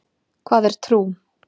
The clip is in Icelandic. Hvað er trú?